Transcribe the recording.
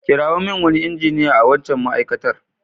Kirawo min wani injiniya a waccan ma'aikatar.